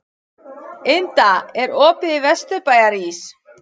Inda, er opið í Vesturbæjarís?